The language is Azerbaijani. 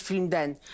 Mosfilmndən.